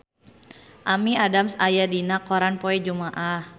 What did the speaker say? Amy Adams aya dina koran poe Jumaah